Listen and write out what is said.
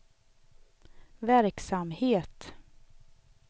verksamhet